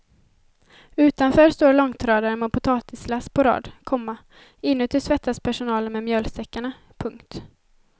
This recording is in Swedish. Utanför står långtradare med potatislass på rad, komma inuti svettas personalen med mjölsäckarna. punkt